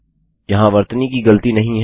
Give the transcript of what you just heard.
यहाँ वर्तनी की गलती नहीं है